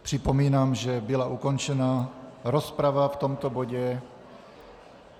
Připomínám, že byla ukončena rozprava v tomto bodě.